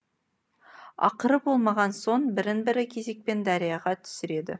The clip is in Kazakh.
ақыры болмаған соң бірін бірі кезекпен дарияға түсіреді